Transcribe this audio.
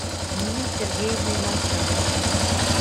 ниной сергеевной молчановой